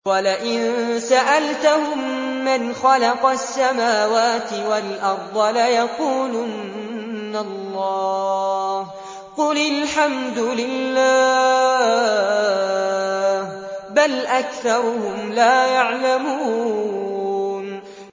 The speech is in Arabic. وَلَئِن سَأَلْتَهُم مَّنْ خَلَقَ السَّمَاوَاتِ وَالْأَرْضَ لَيَقُولُنَّ اللَّهُ ۚ قُلِ الْحَمْدُ لِلَّهِ ۚ بَلْ أَكْثَرُهُمْ لَا يَعْلَمُونَ